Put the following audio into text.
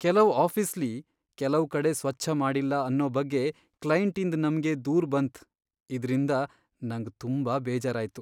ಕೆಲವ್ ಆಫೀಸ್ಲಿ ಕೆಲವ್ ಕಡೆ ಸ್ವಚ್ಛ ಮಾಡಿಲ್ಲ ಅನ್ನೋ ಬಗ್ಗೆ ಕ್ಲೈಂಟಿಂದ್ ನಮ್ಗೆ ದೂರು ಬಂತ್ ಇದ್ರಿಂದ ನಂಗ್ ತುಂಬಾ ಬೇಜಾರಾಯ್ತು.